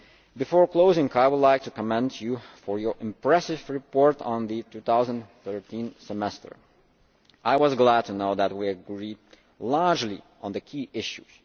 Before closing, I would like to commend you for your impressive report on the 2013 Semester. I was glad to know that we largely agreed on the key issues.